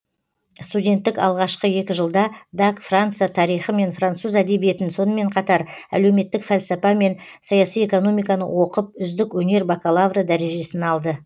студенттік алғашқы екі жылда даг франция тарихы мен француз әдебиетін сонымен қатар әлеуметтік фәлсапа мен саяси экономиканы оқып үздік өнер бакалавры дәрежесін алды